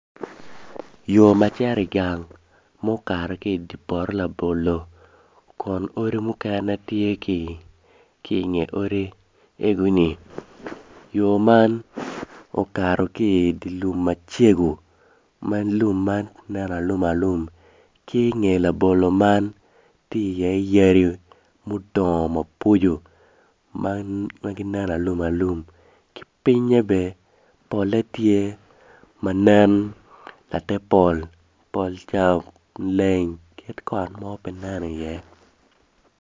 Yo ma cito i gang mukato ki i poto labolo kun odi mukene tye ki ingeye yo man okato ki i dye lum macego ma lum man nen alumalum ki i nge labolo man tye iye yadi mudongo maboco ma ginen alum alum ki pinye bene pole tye ma nen latepol kit kot mo pe nen iye.